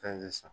Fɛn de san